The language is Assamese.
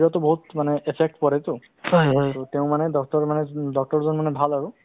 so আমি তেওঁলোকৰ লগত সহায় কৰিবলৈ সহযোগ কৰিবলৈ কিছুমান ভিতৰুৱা গাঁওত যিবোৰে vaccine পোৱা নাই